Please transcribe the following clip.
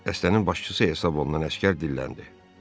Dəstənin başçısı hesab olunan əsgər dilləndi.